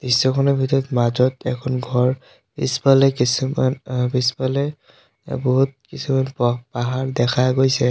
দৃশ্যখনৰ ভিতৰত মাজত এখন ঘৰ পিছফালে কিছুমান আ পিছফালে বহুত কিছুমান প পাহাৰ দেখা গৈছে।